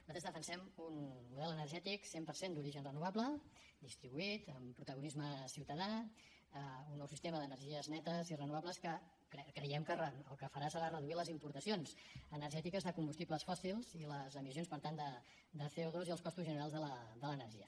nosaltres defensem un model energètic cent per cent d’origen renovable distribuït amb protagonisme ciutadà un nou sistema d’energies netes i renovables que creiem que el que farà serà reduir les importacions energètiques de combustibles fòssils i les emissions per tant de co2 i els costos generals de l’energia